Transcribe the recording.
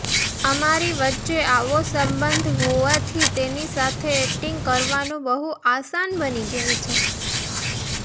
અમારી વચ્ચે આવો સંબંધ હોવાથી તેની સાથે ઍક્ટિંગ કરવાનું બહુ આસાન બની જાય છે